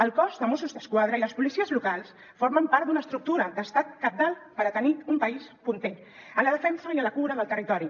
el cos de mossos d’esquadra i les policies locals formen part d’una estructura d’estat cabdal per tenir un país punter en la defensa i en la cura del territori